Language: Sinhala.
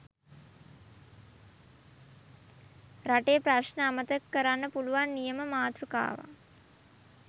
රටේ ප්‍රශ්න අමතක කරන්න පුලුවන් නියම මාතෟකාවක්